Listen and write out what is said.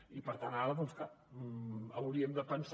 i per tant ara doncs clar hauríem de pensar